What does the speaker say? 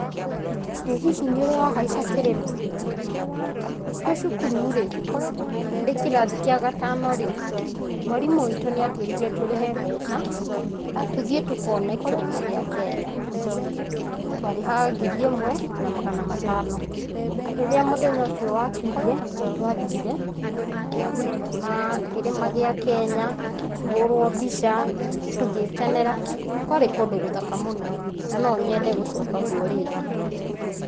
Ĩĩ hihi nĩurĩ wa haica kĩrĩma? twĩ cukuru rĩ ndĩkĩrathi kĩa gatano rĩ, mwarimũ witũ nĩatwĩrĩre tũrĩhe mbeca tũthiĩ tũkone kĩrĩma gĩa Kenya ,twarĩhaga ngiri ĩmwe na magana matano. Rĩrĩa mũthenya ũcio wakinyire nĩtwathire tũkĩona uhh kĩrĩma gĩa Kenya ,tũkĩhũrwa mbica, tũgĩkenera, kwarĩ kũndũ gũthaka mũno na no nyende gũcoka rĩngĩ.